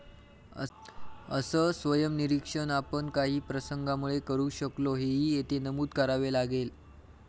असं स्वयंनिरीक्षण आपण काही प्रसंगामुळे करू शकलो, हेही येथे नमूद करावे लागेल.